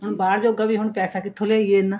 ਹੁਣ ਬਾਹਰ ਜੋਗਾ ਵੀ ਹੁਣ ਪੈਸਾ ਕਿੱਥੋ ਲਿਆਈਏ ਇੰਨਾ